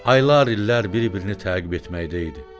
Aylar illər bir-birini təqib etməkdə idi.